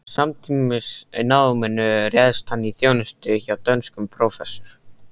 Samtímis náminu réðst hann í þjónustu hjá dönskum prófessor